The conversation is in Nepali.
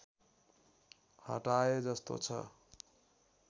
हटाए जस्तो छ